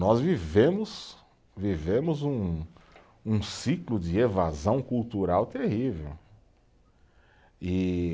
Nós vivemos, vivemos um, um ciclo de evasão cultural terrível, e